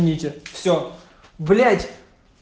извините все блять